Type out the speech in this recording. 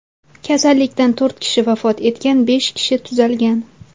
Kasallikdan to‘rt kishi vafot etgan, besh kishi tuzalgan.